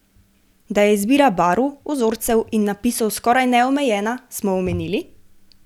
Da je izbira barv, vzorcev in napisov skoraj neomejena, smo omenili?